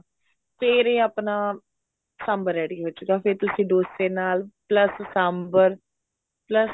ਫ਼ੇਰ ਇਹ ਆਪਣਾ ਸਾਂਬਰ ready ਹੋਜੂਗਾ ਫ਼ੇਰ ਤੁਸੀਂ ਡੋਸੇ ਨਾਲ plus ਸਾਂਬਰ plus